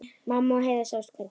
Mamma og Heiða sáust hvergi.